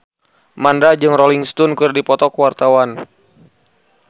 Mandra jeung Rolling Stone keur dipoto ku wartawan